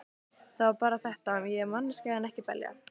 Það var bara þetta: Ég er manneskja en ekki belja.